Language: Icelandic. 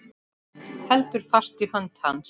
Heldur fast í hönd hans.